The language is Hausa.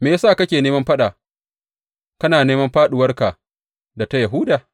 Me ya sa kake neman faɗa kana neman fāɗuwarka da ta Yahuda?